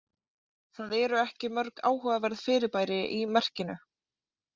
Það eru ekki mörg áhugaverð fyrirbæri í merkinu.